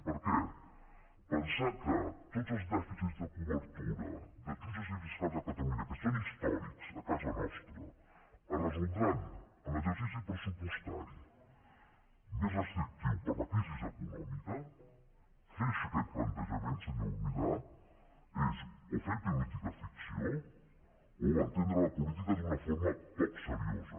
perquè pensar que tots els dèficits de cobertura de jutges i fiscals a catalunya que són històrics a casa nostra es resoldran en l’exercici pressupostari més restrictiu per la crisi econòmica fer aquest plantejament senyor milà és o fer política ficció o entendre la política d’una forma poc seriosa